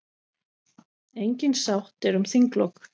Engin sátt er um þinglok.